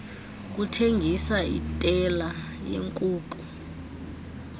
kuthengisa itela yeenkuku